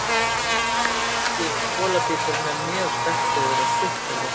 Ameríski bolabíturinn er mjög sterkbyggður og stutthærður.